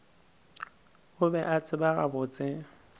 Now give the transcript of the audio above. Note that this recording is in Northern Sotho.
o be a tseba gabotse